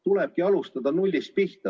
Tulebki alustada nullist.